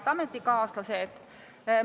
Head ametikaaslased!